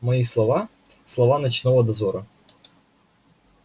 мои слова слова ночного дозора